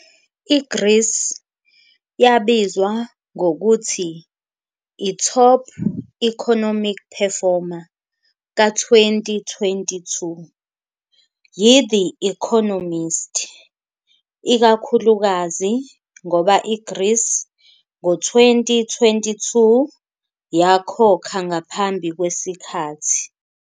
I-Greece yabizwa ngokuthi i-Top Economic Performer ka-2022 yi-The Economist, ikakhulukazi ngoba i-Greece ngo-2022 yakhokha ngaphambi kwesikhathi.